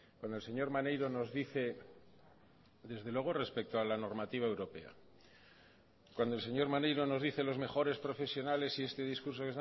cuando el señor maneiro nos dice desde luego respecto a la normativa europea cuando el señor maneiro nos dice los mejores profesionales y este discurso